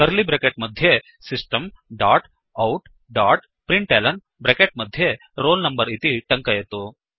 curly bracket मध्ये system dot out dot println bracket मध्ये roll number इति टङ्कयतु